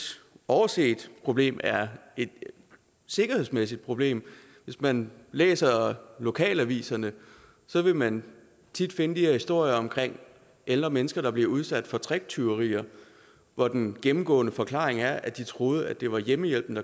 overset problem er et sikkerhedsmæssigt problem hvis man læser lokalaviserne vil man tit finde de her historier om ældre mennesker der bliver udsat for tricktyverier hvor den gennemgående forklaring er at de troede det var hjemmehjælperen